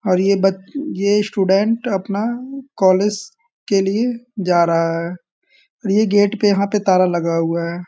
और ये बच ये स्टूडेंट अपना कॉलेज के लिए जा रहा है और ये गेट पे यहाँ पे ताला लगा हुआ है।